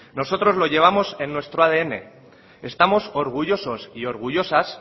nosotros lo llevamos en nuestro adn estamos orgullosos y orgullosas